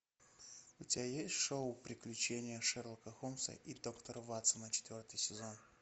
у тебя есть шоу приключения шерлока холмса и доктора ватсона четвертый сезон